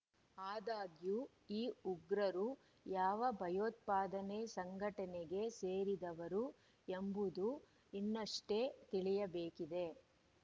ಆದಾಗ್ಯೂ ಈ ಉಗ್ರರು ಯಾವ ಭಯೋತ್ಪಾದನೆ ಸಂಘಟನೆಗೆ ಸೇರಿದವರು ಎಂಬುದು ಇನ್ನಷ್ಟೇ ತಿಳಿಯಬೇಕಿದೆ